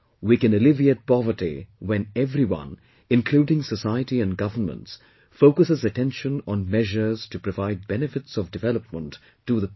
We can alleviate poverty when everyone including society and governments focuses attention on measures to provide benefits of development to the poor